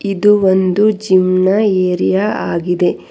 ಇದು ಒಂದು ಜಿಮ್ನ ಏರಿಯ ಆಗಿದೆ.